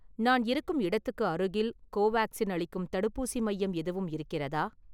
நான் இருக்கும் இடத்துக்கு அருகில் கோவேக்சின் அளிக்கும் தடுப்பூசி மையம் எதுவும் இருக்கிறதா?